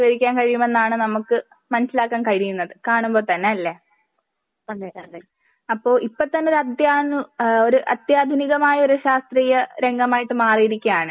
കൈവരിക്കാൻ കഴിയും എന്നാണ് നമ്മക്ക് മനസ്സിലാക്കാൻ കഴിയുന്നത് കാണുമ്പോ തന്നെ അല്ലേ? അപ്പൊ ഇപ്പൊ തന്നെ അത്യാദുനിക ഒരു അത്യാദുനികമായ ഒരു ശാസ്ത്രീയ രംഗമായിട്ട് മാറിയിരിക്കുകയാണ്.